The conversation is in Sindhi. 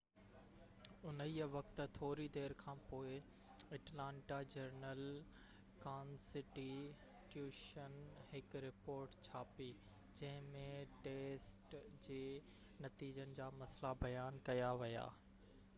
انهيءِ وقت ٿوري دير کانپوءِ اٽلانٽا جرنل ڪانسٽي ٽيوشن هڪ رپورٽ ڇاپي جنهن ۾ ٽيسٽ جي نتيجن جا مسئلا بيان ڪيا ويا